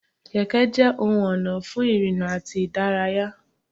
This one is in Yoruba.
Kẹ̀kẹ́ jẹ ohun ona fún ìrìnà àti ìdárayá.